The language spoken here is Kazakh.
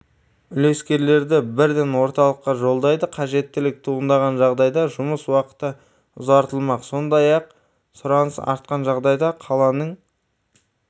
үлескерлерді бірден орталыққа жолдайды қажеттілік туындаған жағдайда жұмыс уақыты ұзартылмақ сондай-ақ сұраныс артқан жағдайда қаланың